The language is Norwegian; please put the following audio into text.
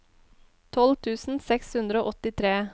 tolv tusen seks hundre og åttitre